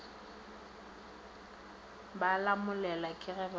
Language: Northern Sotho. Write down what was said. ba lamolelwa ke ge ba